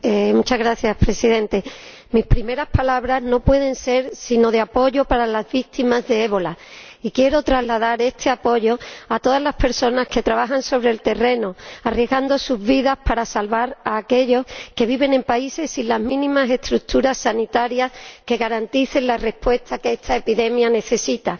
Señor Presidente, mis primeras palabras no pueden ser sino de apoyo para las víctimas del ébola, y quiero trasladar este apoyo a todas las personas que trabajan sobre el terreno, arriesgando sus vidas para salvar a aquellos que viven en países sin las mínimas estructuras sanitarias que garanticen la respuesta que esta epidemia necesita.